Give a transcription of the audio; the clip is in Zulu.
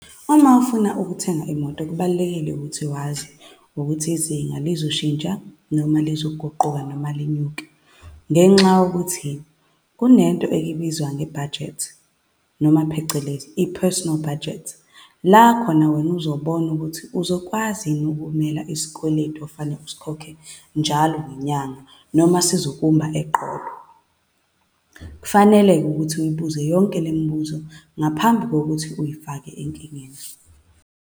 Uma ufuna ukuthenga imoto kubalulekile ukuthi wazi ukuthi izinga lizoshintsha, noma zizoguquka, noma linyuke. Ngenxa yokuthi kunento ebizwa nge-budget, noma phecelezi, i-personal budget, la khona wena uzobona ukuthi uzokwazi yini ukumela isikweletu okufanele uyikhokhe njalo ngenyanga, noma sizokumba eqolo. Kufanele-ke ukuthi uyibuze yonke le mibuzo ngaphambi kokuthi uyifake enkingeni.